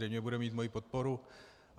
Zřejmě bude mít moji podporu.